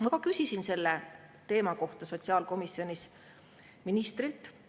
Ma küsisin selle teema kohta sotsiaalkomisjonis ministrilt.